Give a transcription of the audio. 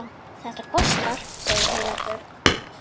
Þetta kostar, segir Heiða Björg.